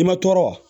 I ma tɔɔrɔ